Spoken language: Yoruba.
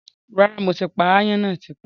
Rárá, mo ti pa áyán náà tipẹ́